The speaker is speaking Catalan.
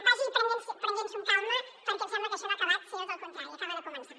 vagi prenent s’ho amb calma perquè em sembla que això no ha acabat sinó tot el contrari acaba de començar